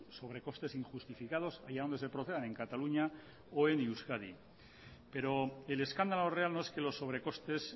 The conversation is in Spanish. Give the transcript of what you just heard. sobrecostes injustificados allá donde se procedan en cataluña o en euskadi pero el escándalo real no es que los sobrecostes